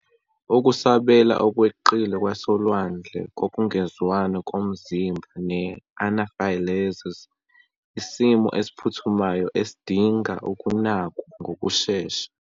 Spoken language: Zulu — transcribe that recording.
Ukusabela okweqile kwasolwandle kokungezwani komzimba ne-anaphylaxis, isimo esiphuthumayo esidinga ukunakwa ngokushesha.